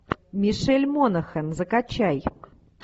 мишель монахэн закачай